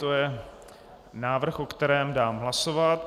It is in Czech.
To je návrh, o kterém dám hlasovat.